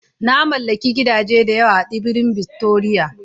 Na mallaki gidaje da yawa a Tsibirin Victoria